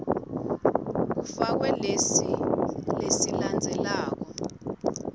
kufakwe lesi lesilandzelako